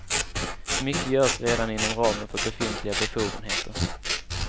Mycket görs redan inom ramen för befintliga befogenheter.